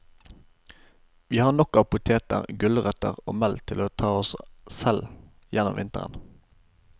Vi har nok av poteter, gulrøtter og melk til å ta oss selv gjennom vinteren.